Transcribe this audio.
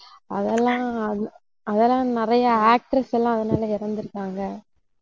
அதெல்லாம் அதெல்லாம் நிறைய actors எல்லாம் அதனால இறந்திருக்காங்க